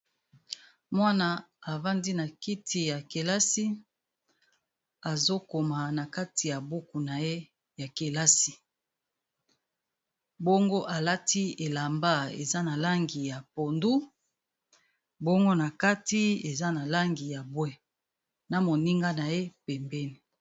Mwana avandi na kiti ya kelasi azokoma na kati ya buku na ye ya kelasi bongo alati elamba eza na langi ya pondu ,bongo na kati eza na langi ya bwe, na moninga na ye pembeni.